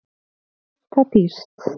Keypt það dýrt.